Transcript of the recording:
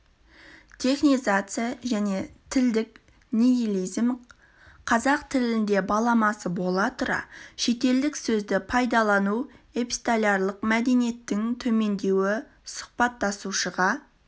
технизация және тілдік нигилизм қазақ тілінде баламасы бола тұра шеттілдік сөзді пайдалану эпистолярлық мәдениеттің төмендеуі сұхбаттасушыға